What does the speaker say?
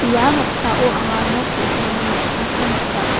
ia noksao anga nok ge·sani mikkangko nika.